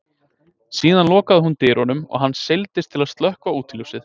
Síðan lokaði hún dyrunum og hann seildist til að slökkva útiljósið.